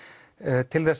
til þess